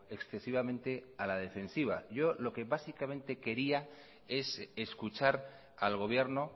excesivamente a la defensiva yo lo que básicamente quería es escuchar al gobierno